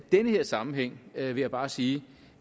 den her sammenhæng vil jeg bare sige